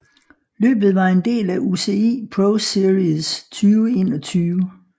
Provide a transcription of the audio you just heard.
Løbet var en del af UCI ProSeries 2021